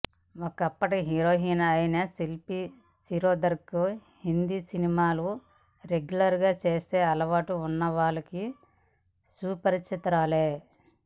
ఒకప్పటి హీరోయిన్ అయిన శిల్పా శిరోద్కర్ హిందీ సినిమాలు రెగ్యులర్ గా చూసే అలవాటు ఉన్న వాళ్లకు సుపరిచితురాలే